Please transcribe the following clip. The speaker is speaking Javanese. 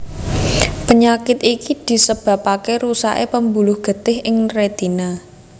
Penyakit iki disebabaké rusaké pembuluh getih ing rétina